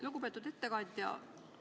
Lugupeetud ettekandja!